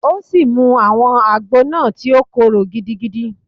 O si mu awọn ágbò náá, ti o kòro gidigidi